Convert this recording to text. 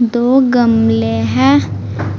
दो गमले है